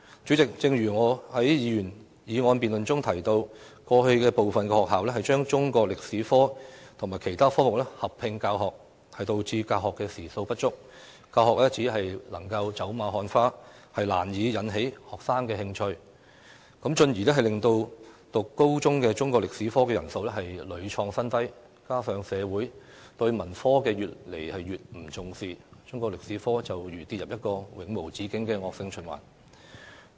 主席，正如我在該項議員議案辯論中提到，過去有部分學校把中國歷史科與其他科目合併教學，導致教學時數不足，教學只能走馬看花，難以引起學生的興趣，進而令修讀高中中國歷史科的人數屢創新低，加上社會對文科越來越不重視，中國歷史科便如跌入一個永無止境的惡性循環。